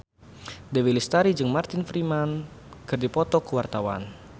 Dewi Lestari jeung Martin Freeman keur dipoto ku wartawan